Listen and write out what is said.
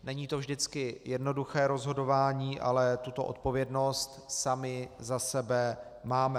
Není to vždycky jednoduché rozhodování, ale tuto odpovědnost sami za sebe máme.